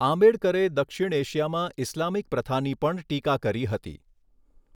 આંબેડકરે દક્ષિણ એશિયામાં ઇસ્લામિક પ્રથાની પણ ટીકા કરી હતી.